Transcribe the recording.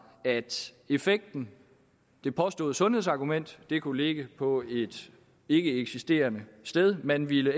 at effekten det påståede sundhedsargument kunne ligge på et ikkeeksisterende sted man ville